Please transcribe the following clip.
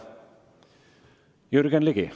Jürgen Ligi.